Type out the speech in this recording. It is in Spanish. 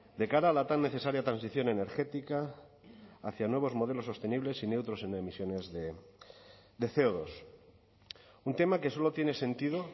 de cara a la tan necesaria transición energética hacia nuevos modelos sostenibles y neutros en emisiones de ce o dos un tema que solo tiene sentido